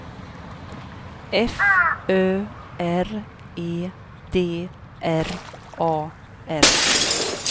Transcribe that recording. F Ö R E D R A R